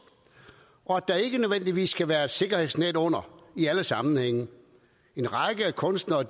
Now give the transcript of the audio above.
og at der ikke nødvendigvis skal være et sikkerhedsnet under i alle sammenhænge en række kunstnere er